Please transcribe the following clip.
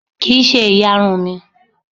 Kì ń ṣe ìyarun mi.